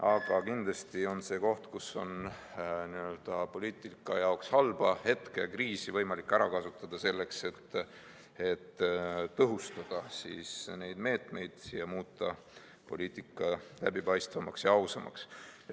Aga kindlasti on see koht, kus n‑ö poliitika jaoks halba hetke ja kriisi on võimalik ära kasutada selleks, et tõhustada neid meetmeid ning muuta poliitika läbipaistvamaks ja ausamaks.